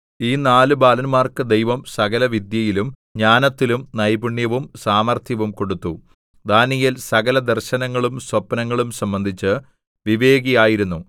ഈ നാല് ബാലന്മാർക്ക് ദൈവം സകലവിദ്യയിലും ജ്ഞാനത്തിലും നൈപുണ്യവും സാമർത്ഥ്യവും കൊടുത്തു ദാനീയേൽ സകലദർശനങ്ങളും സ്വപ്നങ്ങളും സംബന്ധിച്ച് വിവേകിയായിരുന്നു